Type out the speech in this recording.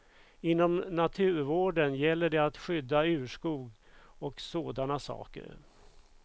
Inom naturvården gäller det att skydda urskog och sådana saker.